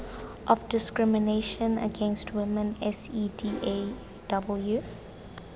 of discrimination against women cedaw